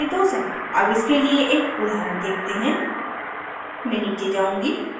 अब इसके लिए एक उदाहरण देखते हैं मैं नीचे जाऊँगी